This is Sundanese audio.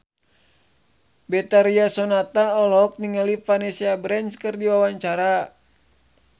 Betharia Sonata olohok ningali Vanessa Branch keur diwawancara